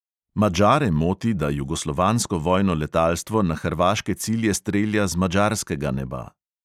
Madžare moti, da jugoslovansko vojno letalstvo na hrvaške cilje strelja z madžarskega neba.